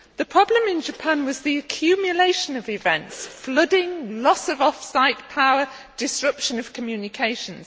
The problem in Japan was the accumulation of events flooding, loss of off site power and disruption of communications.